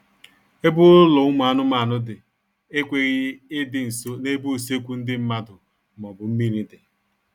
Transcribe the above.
Ebe ụlọ ụmụ anụmanụ dị ekweghị ịdị nso n'ebe usekwu ndị mmadụ maọbụ mmiri dị